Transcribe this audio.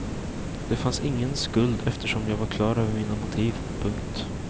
Det fanns ingen skuld eftersom jag var klar över mina motiv. punkt